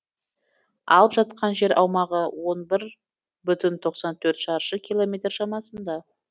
алып жатқан жер аумағы он бір бүтін тоқсан төрт шаршы километр шамасында